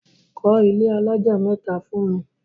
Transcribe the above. Kọ́ ilé alájà mẹ́ta fún mi!